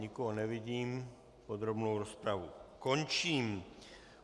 Nikoho nevidím, podrobnou rozpravu končím.